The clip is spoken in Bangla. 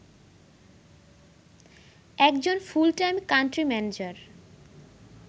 একজন ফুল-টাইম কান্ট্রি ম্যানেজার